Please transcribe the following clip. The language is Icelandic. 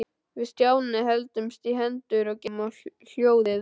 Við Stjáni héldumst í hendur og gengum á hljóðið.